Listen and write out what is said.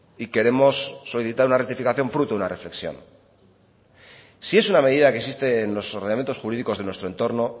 y queremos solicitar una rectificación fruto de una reflexión si es una medida que existe en los ordenamientos jurídicos de nuestro entorno